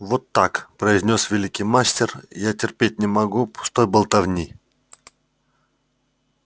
вот так произнёс великий мастер я терпеть не могу пустой болтовни